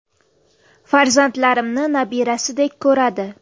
Farzandlarimni nabirasidek ko‘radi.